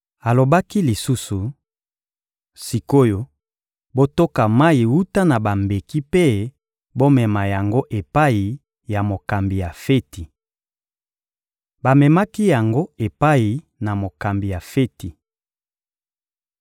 Alobaki lisusu: — Sik’oyo, botoka mayi wuta na bambeki mpe bomema yango epai ya mokambi ya feti. Bamemaki yango epai na mokambi ya feti.